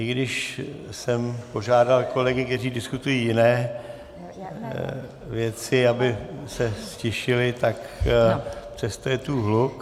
I když jsem požádal kolegy, kteří diskutují jiné věci, aby se ztišili, tak přesto je tu hluk...